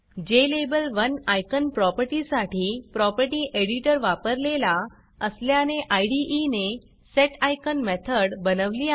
ज्लाबेल1 icon प्रॉपर्टीसाठी property editorप्रॉपर्टी editor वापरलेला असल्याने इदे ने सेटिकॉन मेथड बनवली आहे